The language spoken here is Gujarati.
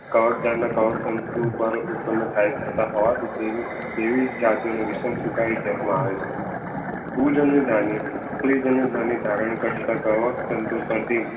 કવક જાળના કવક તંતુ ઉત્પન્ન થતાં હોવાથી તેવીતેવી જાતિઓના વિષમ સુખાય કહેવામાં આવે છે. પૂજન્યધની કવક તંતુ પરથી